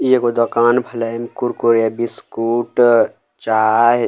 इ एगो दोकान भेलैन कुरकुरे बिस्कुट अ चाय।